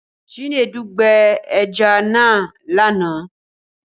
Chinedu gbẹ ẹja náà lánàá